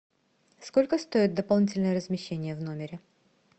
сколько стоит дополнительное размещение в номере